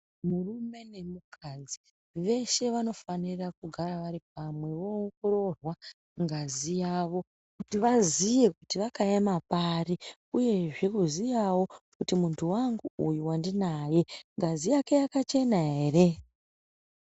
Murume nemukadzi veshe vanofanira kugara vari pamwe voongororwa ngazi yavo kuti vaziye kuti vakaema pari uyezve kuziyawo kuti muntu wangu uyu wandinaye ngazi yake yakachena ere.